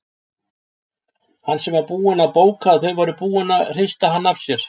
Hann sem var búinn að bóka að þau væru búin að hrista hann af sér!